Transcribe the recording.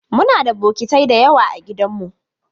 Muna da bokitai da yawa a gidanmu.